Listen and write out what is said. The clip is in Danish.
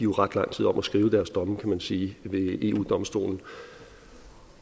ret lang tid om at skrive deres domme kan man sige ved eu domstolen